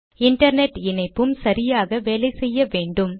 internet இணைப்பும் சரியாக வேலை செய்ய வேண்டும்